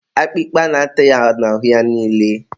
akpịkpa na-ata ya n'ahụ ya niile